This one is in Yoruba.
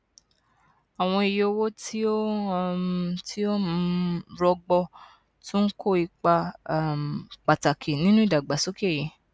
àwọn iye owó tí ó um tí ó um rọgbọ tún ń kó ipa um pàtàkì nínú ìdàgbàsókè yìí